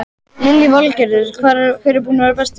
Lillý Valgerður: Hver er búinn að vera bestur?